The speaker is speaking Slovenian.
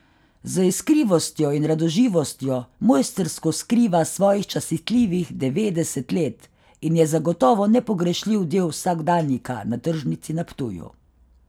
Z iskrivostjo in radoživostjo mojstrsko skriva svojih častitljivih devetdeset let in je zagotovo nepogrešljiv del vsakdanjika na tržnici na Ptuju.